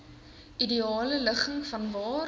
ideale ligging vanwaar